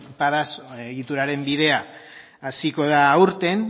padas egituraren bidea hasiko da aurten